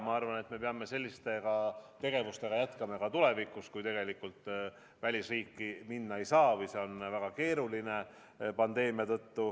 Ma arvan, me peame selliste tegevustega jätkama ka tulevikus, kui välisriiki minna ei saa või see on pandeemia tõttu väga keeruline.